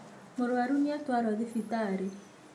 Mũrwaru nĩatwarwo thibitarĩ